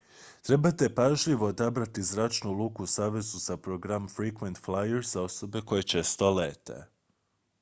trebate pažljivo odabrati zračnu luku u savezu za program frequent flyer za osobe koje često lete